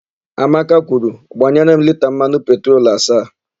Amaka kwuru, "gbanyere m lita mmanụ petrolu asaa"!